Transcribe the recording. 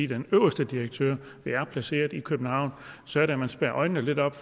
den øverste direktør er placeret i københavn og så er det man spærre øjnene lidt op